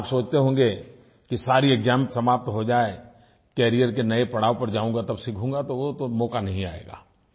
आप सोचते होंगे कि सारी एक्साम समाप्त हो जाए कैरियर के नये पड़ाव पर जाऊँगा तब सीखूँगा तो वो तो मौका नहीं आएगा